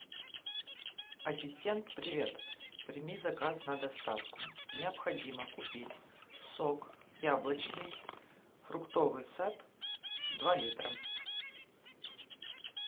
ассистент привет прими заказ на доставку необходимо купить сок яблочный фруктовый сад два литра